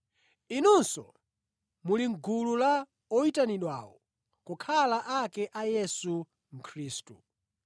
Inunso muli mʼgulu la Amitundu oyitanidwawo kukhala ake a Yesu Khristu.